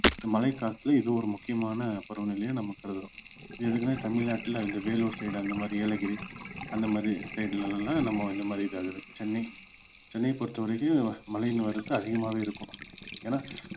இந்த மழை காற்று இது ஒரு முக்கியமான பருவநிலையா நம்ம கருதுறோம் எதுக்குன்னா தமிழ்நாட்டுல இந்த வேலூர் side அந்த மாதிரி ஏலகிரி அந்த மாதிரி side ல எல்லாம் நம்ம இந்த மாதிரி இதாகுது சென்னை சென்னை பொறுத்த வரைக்கும் மழையின் வரத்து அதிகமாவே இருக்கும் ஏன்னா